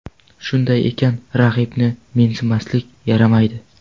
Shunday ekan, raqibni mensimaslik yaramaydi.